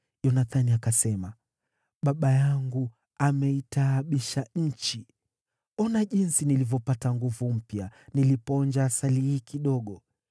Yonathani akasema, “Baba yangu ameitaabisha nchi. Ona jinsi nilivyopata nguvu mpya nilipoonja asali hii kidogo.